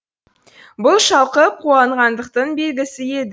бұл шалқып қуанғандықтың белгісі еді